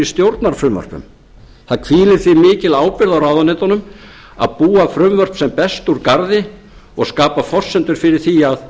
stjórnarfrumvörpum það hvílir því mikil ábyrgð á ráðuneytunum að búa frumvörp sem best úr garði og skapa forsendur fyrir því að